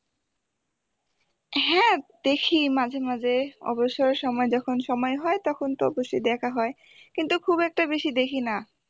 দেখি মাঝে মাঝে অবসর সময়ে যখন সময় হয় তখন তো বসে দেখা হয় কিন্তু খুব একটা বেশি দেখি না